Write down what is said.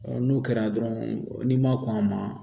n'o kɛra dɔrɔn n'i ma kɔn a ma